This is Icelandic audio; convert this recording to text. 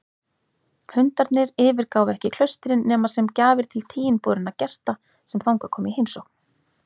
Hundarnir yfirgáfu ekki klaustrin nema sem gjafir til tiginborinna gesta sem þangað komu í heimsókn.